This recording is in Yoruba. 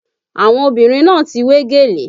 Àwọn obìnrin náà ti wé gèlè